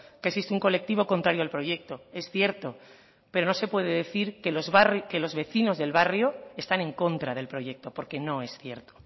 que existe un colectivo contrario al proyecto es cierto pero no se puede decir que los vecinos del barrio están en contra del proyecto porque no es cierto